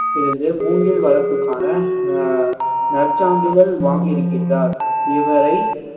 இருந்து மூங்கில் வளர்ப்புக்கான அஹ் நற்சான்றிதழ் வாங்கி இருக்கின்றார் இவரை